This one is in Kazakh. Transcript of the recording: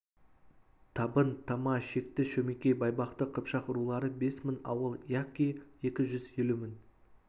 табын тама шекті шөмекей байбақты қыпшақ рулары бес мың ауыл яки екі жүз елу мың